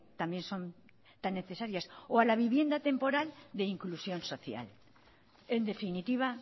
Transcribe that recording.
también son tan necesarias o a la vivienda temporal de inclusión social en definitiva